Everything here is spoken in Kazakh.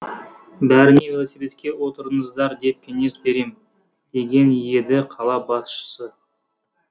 бәріне велосипедке отырыңыздар деп кеңес берем деген еді қала басшысы